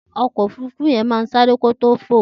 That plan will run before it files.